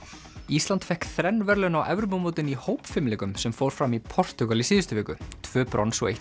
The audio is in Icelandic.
ísland fékk þrenn verðlaun á Evrópumótinu í hópfimleikum sem fór fram í Portúgal í síðustu viku tvö brons og eitt